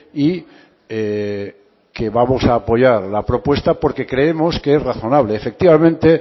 y que vamos a apoyar la propuesta porque creemos que es razonable efectivamente